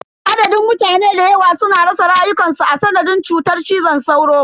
Adadin mutane dayawa suna rasa rayukansu a sanadin cutar cizon sauro.